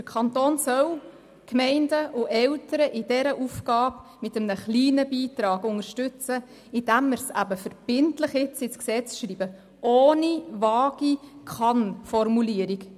Der Kanton soll Gemeinden und Eltern in dieser Aufgabe mit einem kleinen Beitrag unterstützen, indem wir es jetzt verbindlich ins Gesetz schreiben, ohne eine vage Kann-Formulierung.